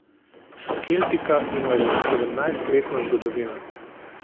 Keltika ima že sedemnajstletno zgodovino.